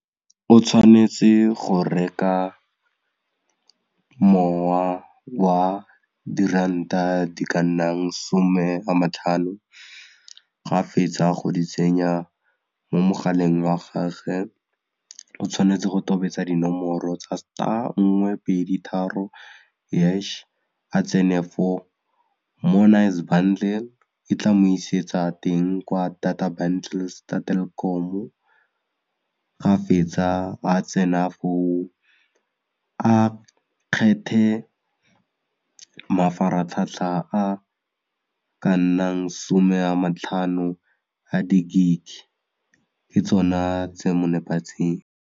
O tshwanetse go reka mowa wa diranta di ka nnang 'some a ma tlhano ga fetsa go di tsenya mo mogaleng wa gage o tshwanetse go tobetsa dinomoro tsa star nngwe pedi tharo hash a tsene fo more nice bundle e tla mo isetsa teng kwa data bundles tsa Telkom-o, ga fetsa a tsena foo a kgethe mafaratlhatlha a ka nnang 'some a matlhano a di-gig ke tsona tse mo nepagetseng.